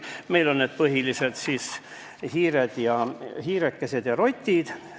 Meil on need põhiliselt hiired ja rotid.